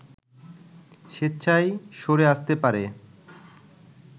স্বেচ্ছায় সরে আসতে পারে